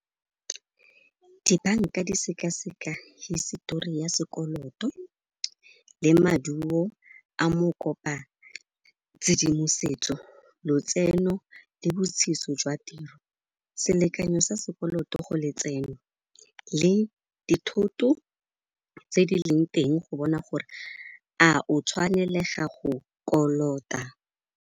Dibanka di sekaseka hisetori ya sekoloto le maduo a mokopa-tshedimosetso, lotseno le jwa tiro. Selekanyo sa sekoloto go letseno le dithoto tse di leng teng go bona gore a o tshwanelega go kolota.